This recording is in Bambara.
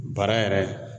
Bara yɛrɛ